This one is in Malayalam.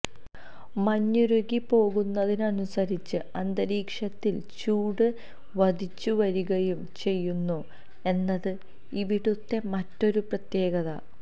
മഞ്ഞുരുകി പോകുന്നതിനനുസരിച്ച് അന്തരീക്ഷത്തില് ചൂട് വധിച്ചു വരികയും ചെയുന്നു എന്നത് ഇവിടുത്തെ മറ്റൊരു പ്രത്യകത